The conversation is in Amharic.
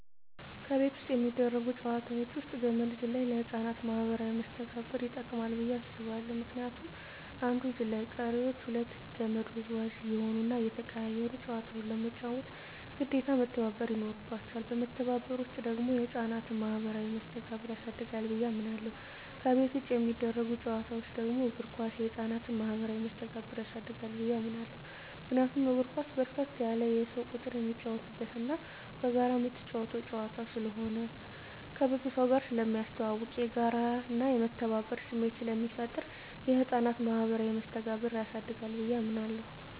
ከቤት ውስጥ የሚደረጉ ጨዋታወች ውስጥ ገመድ ዝላይ ለህፃናት ማኀበራዊ መስተጋብር ይጠቅማ ብየ አስባለሁ ምክንያቱም አንዱ ዘላይ ቀሪወች ሁለቱ ከመድ ወዝዋዥ እየሆኑና እየተቀያየሩ ጨዋታውን ለመጫወት ግዴታ መተባበር ይኖርባቸዋል በመተባበር ውስጥ ደግሞ የህፃናት ማኋበራዊ መስተጋብር ያድጋል ብየ አምናለሁ። ከቤት ውጭ የሚደረጉ ጨዋታወች ደግሞ እግር ኳስ የህፃናትን ማህበራዊ መስተጋብር ያሳድጋል ብየ አምናለሁ። ምክንያቱም እግር ኳስ በርከት ያለ የሰው ቁጥር የሚጫወትበትና በጋራ ምትጫወተው ጨዋታ ስለሆነ ከብዙ ሰውጋር ስለሚያስተዋውቅ፣ የጋራና የመተባበር ስሜት ስለሚፈጥር የህፃናትን ማኀበራዊ መስተጋብር ያሳድጋል ብየ አምናለሁ።